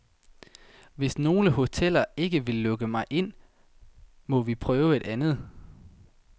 Hvis nogle hoteller ikke vil lukke mig ind, må vi prøve et andet.